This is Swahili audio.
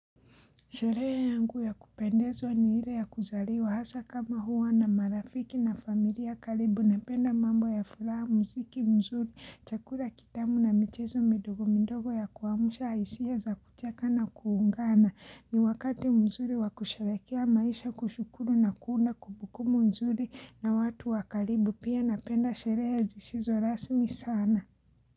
Sherehe yangu ya kupendezwa ni ile ya kuzaliwa hasa kama huwa na marafiki na familia karibu napenda mambo ya furaha muziki mzuri, chakula kitamu na michezo midogo midogo ya kuamusha hisia za kucheka na kuungana. Ni wakati mzuri wakusharekea maisha kushukuru na kuunda kumbukumbuku mzuri na watu wa karibu pia napenda sherehe zishizo rasmi sana.